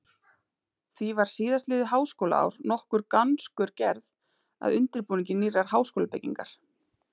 Því var síðastliðið háskólaár nokkur gangskör gerð að undirbúningi nýrrar háskólabyggingar.